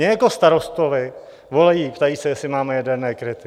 Mně jako starostovi volají, ptají se, jestli máme jaderné kryty.